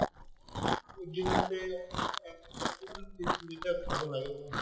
দিনতে লিটাৰ খাব লাগে পানী